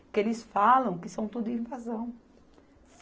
Porque eles falam que são tudo invasão.